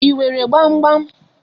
I nwere gbam gbam.